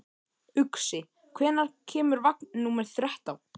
Uxi, hvenær kemur vagn númer þrettán?